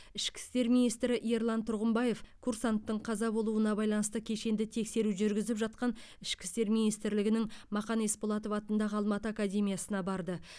ішкі істер министрі ерлан тұрғымбаев курсанттың қаза болуына байланысты кешенді тексеру жүргізіп жатқан ішкі істер министрлігінің мақан есболатов атындағы алматы академиясына барды